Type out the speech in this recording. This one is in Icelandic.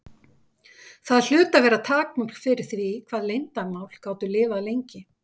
Það hlutu að vera takmörk fyrir því hvað leyndarmál gátu lifað lengi.